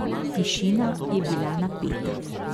Tišina je bila napeta.